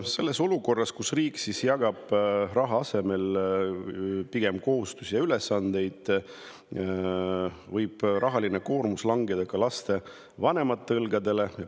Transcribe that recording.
Sellises olukorras, kus riik jagab raha asemel pigem kohustusi ja ülesandeid, võib rahaline koormus langeda ka lapsevanemate õlgadele.